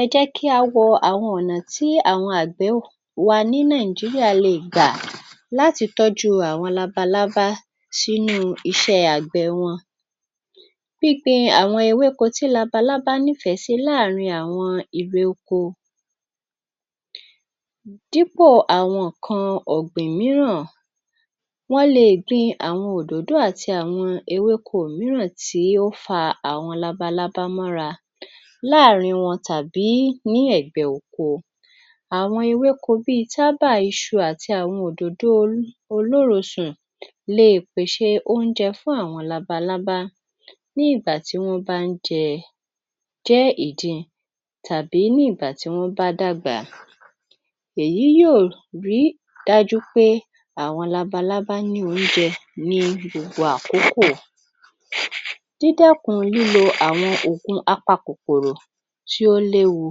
Ẹ jẹ́ kí á wo àwọn ọ̀nà tí àwọn àgbẹ̀ wa ní Nàìjíríà le è gbà láti tọ́jú àwọn labalábá sínú iṣẹ́ àgbẹ̀ wọn. Gbíngbin àwọn ewéko tí labalábá nífẹ̀ẹ́ sí láàárin àwọn irè oko. Dípò àwọn ọ̀gbìn mìíràn, wọn le è gbin àwọn òdòdó àti àwọn ewéko mìíràn tí ó fa àwọn lalalábá mọ́ra láàárín wọn tàbí ní ẹ̀gbẹ́ oko. Àwọn ewéko bíi tábà, iṣu, àti àwọn òdòdó olórosùn le è pèṣè óúnjẹ fún àwọn labalábá, ní ìgbà tí wọ́n bá ń jẹ, jẹ́ ìdin tàbí ní ìgbà tí wọ́n bá dàgbà. Èyí yóò rí dájú pé, àwọn labalábá ní oúnjẹ ní gbogbo àkókò. Dídẹ́kun lílo àwọn òògùn apakòkòrò tí ó léwu: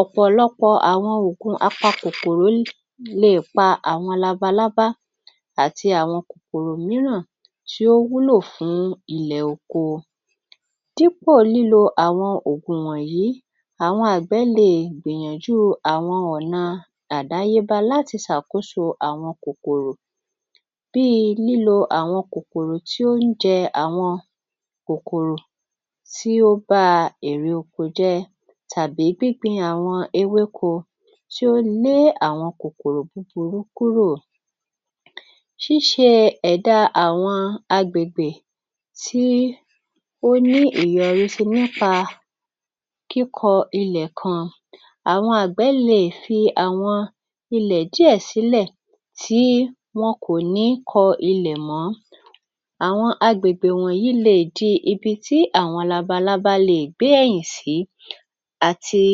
Ọ̀pọ̀lọpọ̀ àwọn oògùn oògùn apakòòrò l, le è pa àwọn labalábá àti àwọn kòkòrò mìíràn tí ó wúlò fún ilẹ̀ oko. Dípò lílo àwọn òògùn wọ̀nyí, àwọn àgbẹ̀ le è gbìyànjú àwọn ọ̀nà àdáyébá láti ṣàkóso àwọn kòkòrò, bí i lílo àwọn kòkòrò tí ó ń jẹ àwọn kòkòrò tó ń ba àwọn irè oko jẹ́ tàbí gbígbin àwọn ewéko tí ó lé àwọn kòkòrò búburú kúrò. Ṣíṣe ẹ̀dá àwọn agbègbè tí ó ní ìyọrísí nípa kíkọ ilẹ̀ kan: Àwọn àgbẹ̀ le è fi àwọn ilẹ̀ díẹ̀ sílẹ̀, tí wọn kò ní kọ ilẹ̀ mọ́. Àwọn agbègbè wọ̀nyí lè di ibi tí àwọn labalábá le è gbé ẹ̀yìn sí àti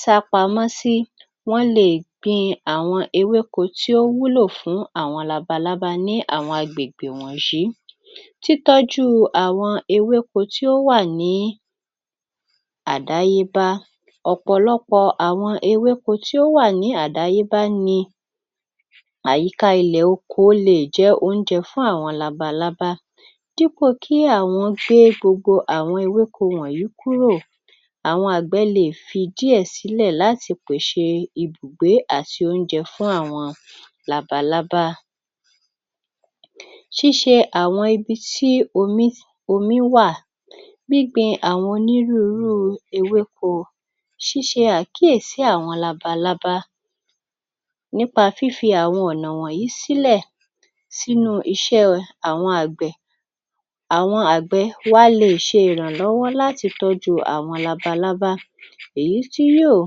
sápamọ́ sí, wọ́n le è gbin àwọn ewéko tí ó wúlò fún àwọn labalábá ní àwọn agbègbè wọ̀nyí. Títọ́jú àwọn ewéko tí ó wà ní àdáyébá: Ọ̀pọ̀lọpọ̀ àwọn ewéko tí ó wà ní àdáyébá ni àyíká ilẹ̀ oko le è jẹ́ óúnjẹ fún àwọn labalábá dípò kí àwọn gbé gbogbo àwọn ewéko wọ̀nyí kúrò, àwọn àgbẹ̀ le è fi díẹ̀ sílẹ̀ láti pèṣè ibùgbé àti óúnjẹ fún àwọn labalábá. Ṣíṣe àwọn ibi tí omí, omí wà, gbígbin àwọn onírúnrú ewéko, ṣiṣe àkíyèsí àwọn labalábá nípa fífi àwọn ọ̀nà wọ̀nyí sílẹ̀ sínu iṣẹ́ àwọn àgbẹ̀, àwọn àgbẹ̀ wa le è ṣèrànlọ́wọ́ láti tọ́jú àwọn labalábá, èyí tí yóò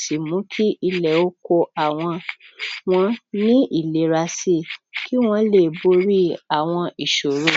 sì mú kí ilẹ̀ oko àwọn wọ́n ní ìlera sí i, kí wọ́n lè borí àwọn ìṣòro.